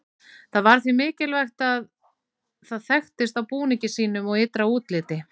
Það var því mikilvægt að það þekktist á búningi sínum og ytra útliti.